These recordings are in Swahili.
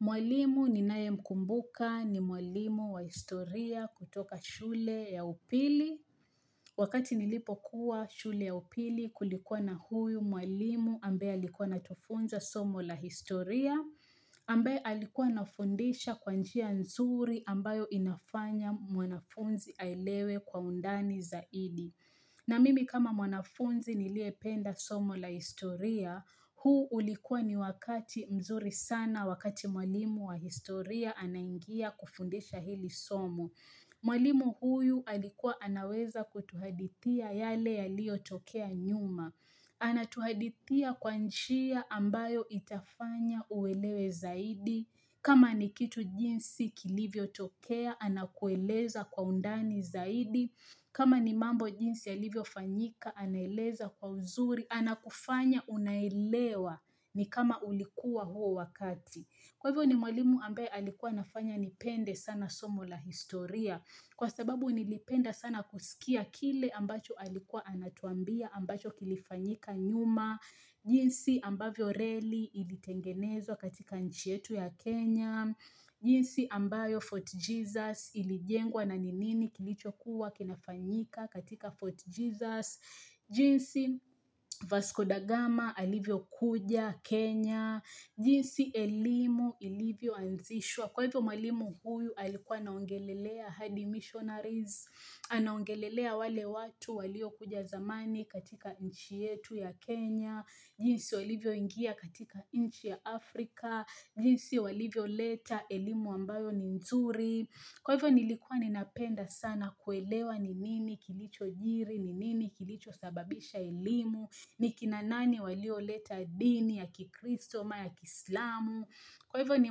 Mwalimu ninaye mkumbuka ni mwalimu wa historia kutoka shule ya upili. Wakati nilipokuwa shule ya upili kulikuwa na huyu mwalimu ambaye alikuwa anatufunza somo la historia, ambae alikuwa anafundisha kwa njia nzuri ambayo inafanya mwanafunzi aelewe kwa undani zaidi. Na mimi kama mwanafunzi niliyependa somo la historia, huu ulikuwa ni wakati mzuri sana, wakati mwalimu wa historia anaingia kufundisha hili somo. Mwalimu huyu alikuwa anaweza kutuhadithia yale yaliotokea nyuma. Ana tuhadithia kwa njia ambayo itafanya uelewe zaidi. Kama ni kitu jinsi kilivyo tokea anakueleza kwa undani zaidi. Kama ni mambo jinsi yalivyo fanyika anaeleza kwa uzuri, anakufanya unaelewa ni kama ulikuwa huo wakati. Kwa hivyo ni mwalimu ambaye alikuwa nafanya nipende sana somo la historia. Kwa sababu nilipenda sana kusikia kile ambacho alikuwa anatuambia ambacho kilifanyika nyuma. Na jinsi ambayo reli ilitengenezwa katika nchi yetu ya Kenya. Jinsi ambayo Fort Jesus ilijengwa na ni nini kilichokuwa kinafanyika katika Fort Jesus jinsi Vasco Da Gama alivyokuja Kenya jinsi elimu ilivyo anzishwa Kwa hivyo mwalimu huyu alikuwa anaongelelea hadi Missionaries Anaongelelea wale watu waliokuja zamani katika nchi yetu ya Kenya jinsi walivyoingia katika nchi ya Afrika jinsi walivyo leta elimu ambayo ni nzuri Kwa hivyo nilikua ninapenda sana kuelewa ni nini kilicho jiri ni nini kilicho sababisha elimu ni kina nani walioleta dini ya kikristo, ama ya kiislamu Kwa hivyo ni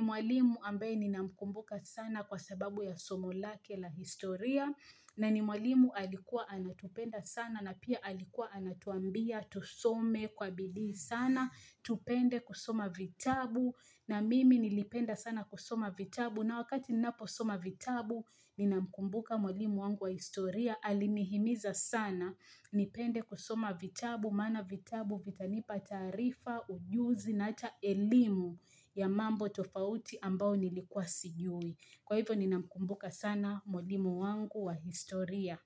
mwalimu ambaye ninamkumbuka sana kwa sababu ya somo lake la historia na ni mwalimu alikuwa anatupenda sana na pia alikuwa anatuambia tusome kwa bidii sana Tupende kusoma vitabu na mimi nilipenda sana kusoma vitabu na wakati ninaposoma vitabu ninamkumbuka mwalimu wangu wa historia alinihimiza sana nipende kusoma vitabu maana vitabu vitanipa taarifa ujuzi na hata elimu ya mambo tofauti ambao nilikuwa sijui. Kwa hivyo ninamkumbuka sana mwalimu wangu wa historia.